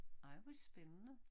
Ej hvor spændende